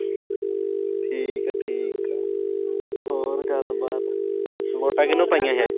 ਠੀਕ ਆ-ਠੀਕ ਆ। ਹੋਰ ਗੱਲਬਾਤ। ਵੋਟਾਂ ਕੀਹਨੂੰ ਪਾਈਆਂ ਸੀ ਐਤਕੀਂ।